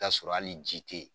t'a sɔrɔ ali ji te yen.